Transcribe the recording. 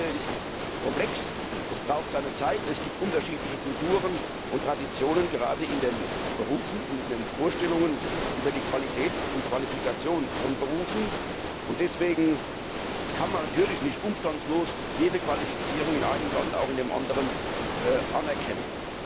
Die Materie ist komplex, es braucht seine Zeit, es gibt unterschiedliche Kulturen und Traditionen, gerade in den Berufen und in den Vorstellungen über die Qualität und Qualifikation von Berufen. Deswegen kann man natürlich nicht umstandslos jede Qualifizierung aus dem einen Land auch in dem anderen anerkennen.